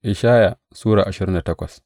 Ishaya Sura ashirin da takwas